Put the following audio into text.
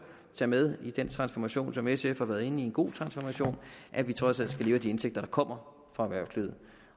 tage med i den transformation som sf har været inde i en god transformation at vi trods alt skal leve af de indtægter der kommer fra erhvervslivet